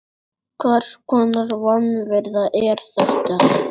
Hvers konar vanvirða er þetta?